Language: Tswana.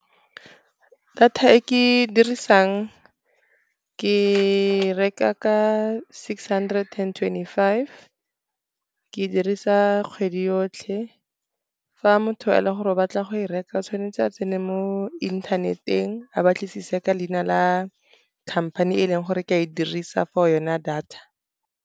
Data e ke e dirisang ke reka ka six hundred and twenty-five, ke dirisa kgwedi yotlhe. Fa motho e le gore ba tla go e reka tshwanetse a tsene mo internet-eng, a batlisise ka leina la company e leng gore ke a e dirisa for yona data.